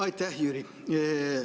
Aitäh, Jüri!